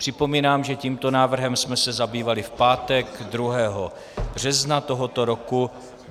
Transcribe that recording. Připomínám, že tímto návrhem jsme se zabývali v pátek 2. března tohoto roku.